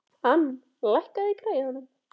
Ann, lækkaðu í græjunum.